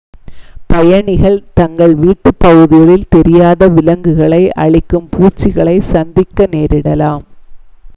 பயணிகள் தங்கள் வீட்டுப் பகுதிகளில் தெரியாத விலங்குகளை அழிக்கும் பூச்சிகளைச் சந்திக்க நேரிடலாம்